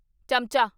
ਚਮਚਾ